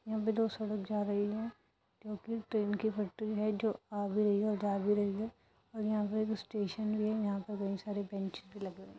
यहाँ पे दो सड़क जा रही है क्योंकि ट्रेन की पटरी है जो आ भी रही है जा भी रही है। यहां पे स्टेशन भी है यहां पर बहुत सारी बेंच भी लगी हुई है।